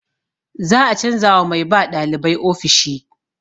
Za a canza wa mai ba ɗalibai ofishi.